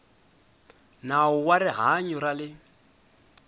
nawu wa rihanyo ra le